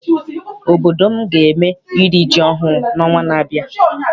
Obodo m ga eme iri ji ọhụụ n'ọnwa na-abịa.